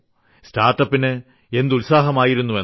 സ്റ്റാർട്ട്അപ്പിന് എന്ത് ഉത്സാഹമായിരുന്നെന്ന്